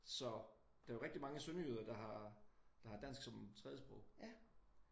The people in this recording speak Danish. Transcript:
Så der er jo rigtig mange sønderjyder der har dansk som et tredjesprog